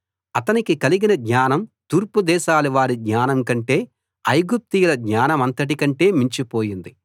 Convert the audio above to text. అతనికి కలిగిన జ్ఞానం తూర్పుదేశాల వారి జ్ఞానం కంటే ఐగుప్తీయుల జ్ఞానమంతటి కంటే మించిపోయింది